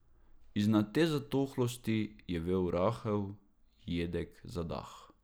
Iznad te zatohlosti je vel rahel, jedek zadah.